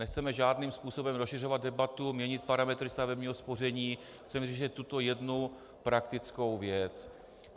Nechceme žádným způsobem rozšiřovat debatu, měnit parametry stavebního spoření, chceme řešit tuto jednu praktickou věc.